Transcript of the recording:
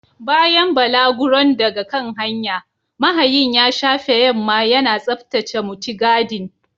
Bayan balaguron daga kan hanya, mahayin ya shafe yamma yana tsaftace mutigadin.